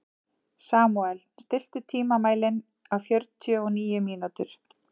Samúel, stilltu tímamælinn á fjörutíu og níu mínútur.